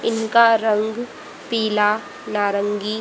इनका रंग पीला नारंगी--